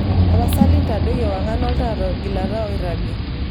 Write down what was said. tapasali ntadoi ewangan olntaa togilata oiragi